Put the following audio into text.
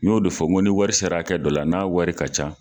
N y'o de fɔ ni wari sera kɛ dɔ la, n'a wari ka ca.